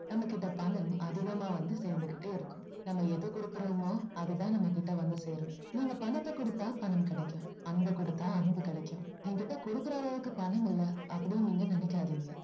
நம்ம கிட்ட பணம் அதிகமா வந்து சேர்ந்துகிட்டே இருக்கும் நம்ம எதை கொடுக்குறோமோ அது தான் நம்ம கிட்ட வந்து சேரும் நீங்க பணத்தை கொடுத்தா பணம் கிடைக்கும் அன்ப கொடுத்தா அன்பு கிடைக்கும் என்கிட்ட கொடுக்குற அளவுக்கு பணம் இல்ல அப்படின்னு நீங்க நினைக்காதீங்க